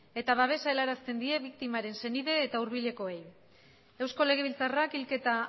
eta babesa helarazten die biktimaren senide eta hurbilekoei eusko legebiltzarrak hilketa